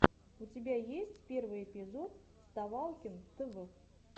у тебя есть первый эпизод вставалкин тв